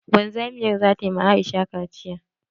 Wanzamiyar zata ma Aisha kaciya.